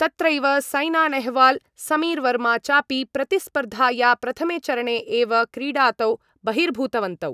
तत्रैव सैना नेहवाल समीरवर्मा चापि प्रतिस्पर्धाया प्रथमे चरणे एव क्रीडातो बहिर्भूतवन्तौ।